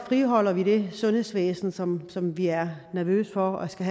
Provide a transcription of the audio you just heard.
friholder vi det sundhedsvæsen som som vi er nervøse for skal